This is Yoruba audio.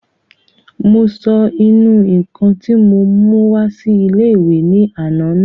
Mo sọ ìnù-ǹkan tí mo mú wá sí ilé-ìwé ní àná nù